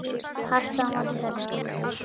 Hart á móti hörðu.